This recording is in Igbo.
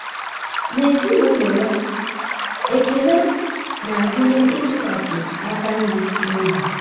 N'ezinụlọ ya, ekele na-agụnye ịtụkwasị aka nri n'obi.